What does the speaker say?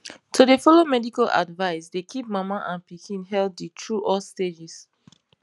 to dey follow medical advice dey keep mama and pikin healthy through all stages